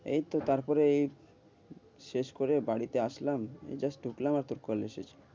এইতো তারপরে এই শেষ করে বাড়িতে আসলাম, এই just ঢুকলাম, আর তোর call এসেছে।